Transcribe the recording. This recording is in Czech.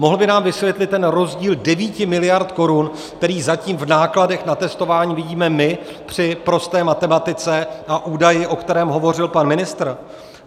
Mohl by nám vysvětlit ten rozdíl 9 miliard korun, který zatím v nákladech na testování vidíme my při prosté matematice, a údajem, o kterém hovořil pan ministr?